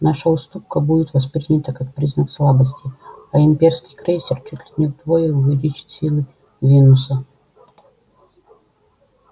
наша уступка будет воспринята как признак слабости а имперский крейсер чуть ли не вдвое увеличит силы венуса